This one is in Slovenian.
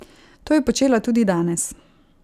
To je počela tudi danes.